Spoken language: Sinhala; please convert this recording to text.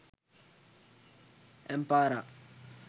ampara